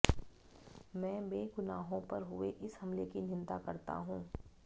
मैं बेगुनाहों पर हुए इस हमले की निंदा करता हूं